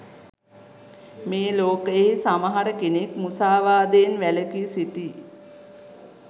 මේ ලෝකයෙහි සමහර කෙනෙක් මුසාවාදයෙන් වැළකී සිටියි.